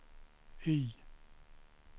Y